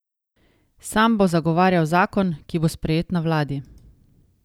Sam bo zagovarjal zakon, ki bo sprejet na vladi.